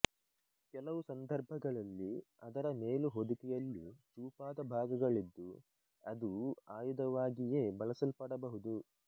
ಕೆಲವು ಸಂದರ್ಭಗಳಲ್ಲಿ ಅದರ ಮೇಲು ಹೊದಿಕೆಯಲ್ಲಿ ಚೂಪಾದ ಭಾಗಗಳಿದ್ದು ಅದೂ ಆಯುಧವಾಗಿಯೇ ಬಳಸಲ್ಪಡಬಹುದು